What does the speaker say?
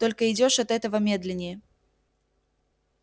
только идёшь от этого медленнее